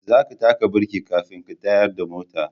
Za ka taka birki kafin ka tayar da mota